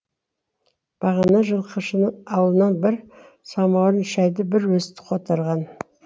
бағана жылқышының ауылынан бір самауырын шәйді бір өзі қотарған